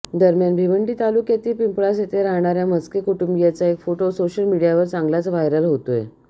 दरम्यान भिवंडी तालुक्यातील पिंपळास येथे राहणाऱ्या म्हस्के कुटुंबीयांचा एक फोटो सोशल मीडियावर चांगलाच व्हायरल होतोय